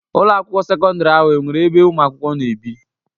Ụlọ akwụkwọ sekọndrị ahụ enwere ebe ụmụ akwụkwọ na-ebi?